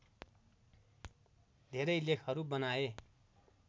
धेरै लेखहरू बनाए